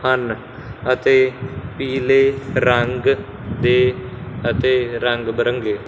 ਹਨ ਅਤੇ ਪੀਲੇ ਰੰਗ ਦੇ ਅਤੇ ਰੰਗਬਿਰੰਗੇ--